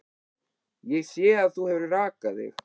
Ég sé að þú hefur rakað þig.